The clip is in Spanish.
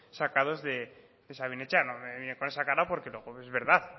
sacados de sabin etxea no me mires con esa cara porque es verdad